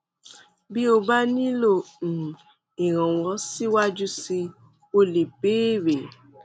bí o bá nílò um ìrànwọ síwájú síi o lè béèrè